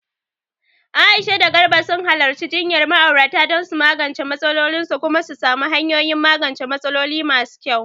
Aisha da Garba sun halarci jinyar ma'aurata don su magance matsalolinsu kuma su samu hanyoyin magance matsaloli masu kyau.